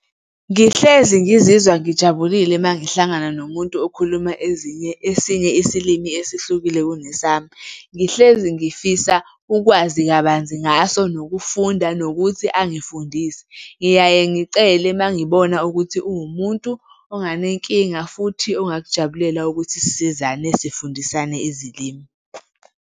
Ngihlezi ngizizwa ngijabulile uma ngihlangana nomuntu okhuluma ezinye, esinye isilimi esihlukile kunesami. Ngihlezi ngifisa ukwazi kabanzi ngaso nokufunda nokuthi angifundise. Ngiyaye ngicele uma ngibona ukuthi uwumuntu onganenkinga futhi ongakujabulela ukuthi sisizane sifundisane izilimi.